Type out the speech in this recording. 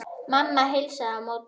Mamma heilsar á móti.